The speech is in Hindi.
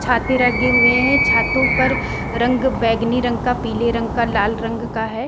छाते रंगें हुए हैं। छातों पर रंग बैंगनी रंग का पीले रंग का लाल रंग का है।